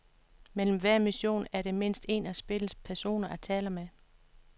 Mellem hver mission er der mindst en af spillets personer at tale med.